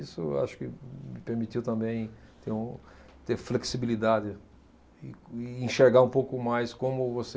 Isso eu acho que me permitiu também ter um, ter flexibilidade e, e enxergar um pouco mais como você